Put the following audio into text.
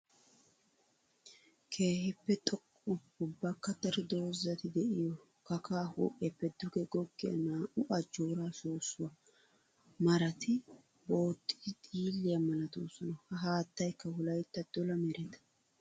Keehippe xoqqa ubbakka daro doozatti de'iyo kakkaa huuphiyappe duge goggiya naa'u ajjora soossuwa maratti booxxiddi xiilliya malatosonna. Ha haattaykka wolaytta dolla meretta.